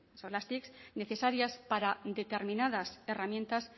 tic necesarias para determinadas herramientas